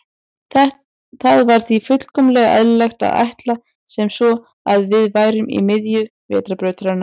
Það var því fullkomlega eðlilegt að ætla sem svo að við værum í miðju Vetrarbrautarinnar.